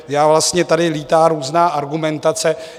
Takže vlastně tady létá různá argumentace.